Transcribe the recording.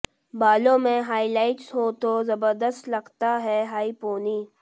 बालों में हाईलाइट्स हो तो जबरदस्त लगता है हाई पोनी